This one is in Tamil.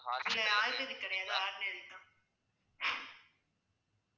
இல்ல ayurvedic கிடையாது ordinary தான்